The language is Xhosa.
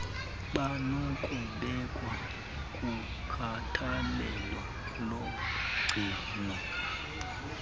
banokubekwa kukhathalelo logcino